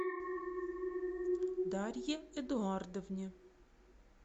дарье эдуардовне